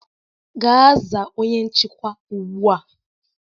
Gaa zaa onye nchịkwa ugbu a!